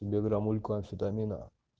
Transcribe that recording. тебе грамулька амфетамина